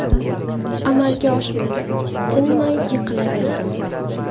Amalga oshmadi, tinmay yiqilaverdim.